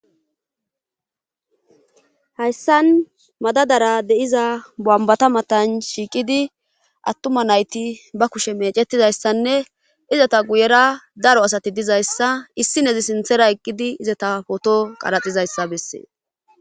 hayssan madadara deiza bambata matan shiiqidi attuma nayti ba kushe meecetidayssanne izata guyera daro asati dizayssa issi nezi sinthera eqqidi izata poto qaraxizayssa bessee